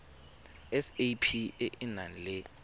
sap e e nang le